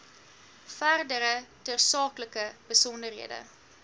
verdere tersaaklike besonderhede